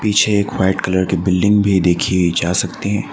पीछे एक white colour की बिल्डिंग भी देखी जा सकती--